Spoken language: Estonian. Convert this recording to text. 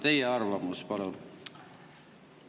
Teie arvamus, palun!